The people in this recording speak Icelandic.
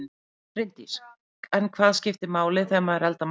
Bryndís: En hvað skiptir máli þegar maður eldar matinn?